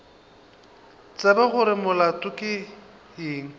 tsebe gore molato ke eng